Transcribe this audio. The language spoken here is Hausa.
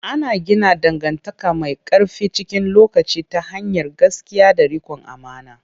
Ana gina dangantaka mai ƙarfi cikin lokaci ta hanyar gaskiya da riƙon amana.